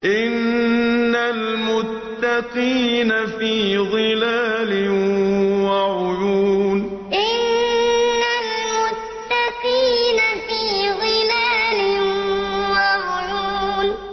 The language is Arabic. إِنَّ الْمُتَّقِينَ فِي ظِلَالٍ وَعُيُونٍ إِنَّ الْمُتَّقِينَ فِي ظِلَالٍ وَعُيُونٍ